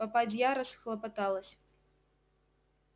попадья расхлопоталась